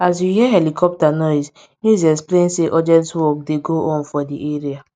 as we hear helicopter noise news explain say urgent work dey go on for di area